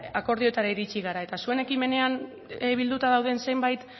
akordioetara iritxi gara eta zuen ekimenean bilduta dauden zenbait